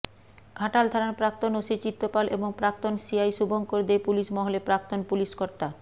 ঘাটাল থানার প্রাক্তন ওসি চিত্ত পাল এবং প্রাক্তন সিআই শুভঙ্কর দে পুলিশ মহলে প্রাক্তন পুলিশকর্তা